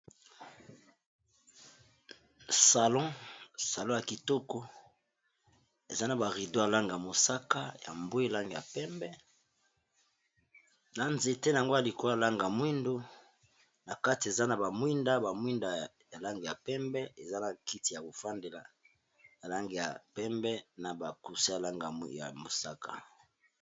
Salon ya kitoko eza na ba rideau ya langi ya mosaka ya mbwe langi ya pembe na nzete nango ya likolo ya langi ya mwindo na kati eza na ba mwinda ba mwinda ya langi ya pembe eza na kiti ya ko fandela ya langi ya pembe na ba coussin ya langi ya mosaka.